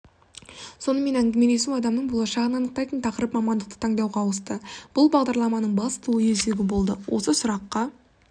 сонымен әңгімелесу адамның болашағын анықтайтын тақырып-мамандықты таңдауға ауысты бұл бағдарламаның басты ой өзегі болды осы сұраққа